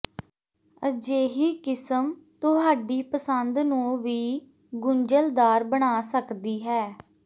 ਅਜਿਹੀ ਕਿਸਮ ਤੁਹਾਡੀ ਪਸੰਦ ਨੂੰ ਵੀ ਗੁੰਝਲਦਾਰ ਬਣਾ ਸਕਦੀ ਹੈ